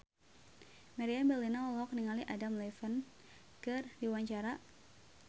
Meriam Bellina olohok ningali Adam Levine keur diwawancara